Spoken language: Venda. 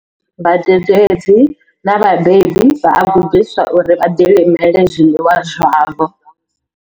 Vhadededzi na vhabebi vha a gudiswa uri vha ḓilimele zwiḽiwa zwavho.